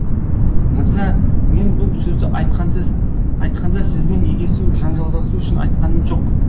мырза мен бұл сөзді айтқанда сізбен егесу жанжалдасу үшін айтқаным жоқ